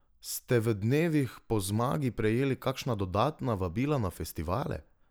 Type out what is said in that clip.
Ste v dnevih po zmagi prejeli kakšna dodatna vabila na festivale?